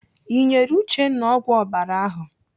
Ị nyere Uchenna ọgwụ ọbara ahụ?